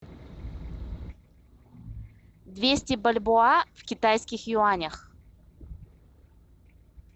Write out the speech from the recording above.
двести бальбоа в китайских юанях